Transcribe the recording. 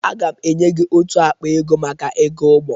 Aga m enye gị ótù akpa ego maka ego ụgbọ.